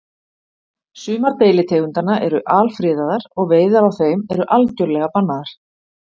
Sumar deilitegundanna eru alfriðaðar og veiðar á þeim eru algjörlega bannaðar.